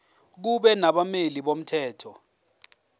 kube nabameli bomthetho